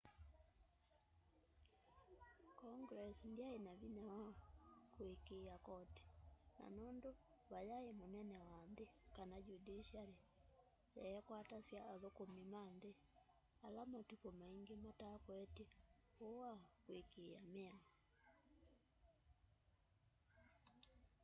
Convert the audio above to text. congress ndyaina vinya wa kuikia koti na nundu vayai munene wa nthi kana judiciary yeekwatasya athukumi ma nthi ala matuku maingi matakwetye uu wa kwikia miao